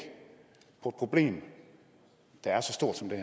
problem der er så stort som det